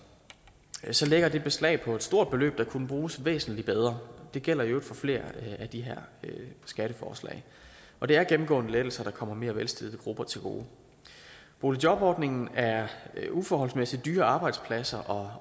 lægger det beslag på et stort beløb der kunne bruges væsentlig bedre det gælder i øvrigt for flere af de her skatteforslag og det er gennemgående lettelser der kommer mere velstillede grupper til gode boligjobordningen er uforholdsmæssig dyre arbejdspladser